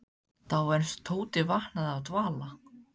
Þá var eins og Tóti vaknaði af dvala.